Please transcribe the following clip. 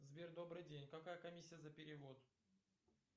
сбер добрый день какая комиссия за перевод